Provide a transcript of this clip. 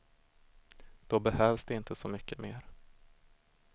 Då behövs det inte så mycket mer.